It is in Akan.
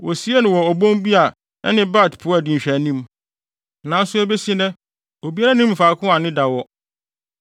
Wosiee no wɔ obon bi a ɛne Bet-Peor di nhwɛanim, nanso ebesi nnɛ, obiara nnim faako a ne da wɔ.